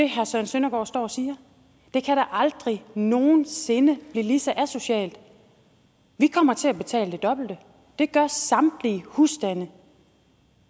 herre søren søndergaard står og siger det kan da aldrig nogen sinde blive lige så asocialt vi kommer til at betale det dobbelte det gør samtlige husstande